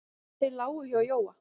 Þeir lágu hjá Jóa.